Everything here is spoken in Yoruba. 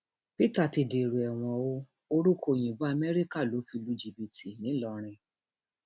peter ti dèrò ẹwọn o orúkọ òyìnbó amẹríkà ló fi lu jìbìtì ńìlọrin